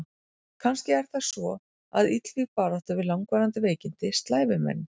Kannski er það svo að illvíg barátta við langvarandi veikindi slævi menn.